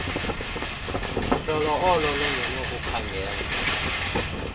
hlolo olo lunokukhangela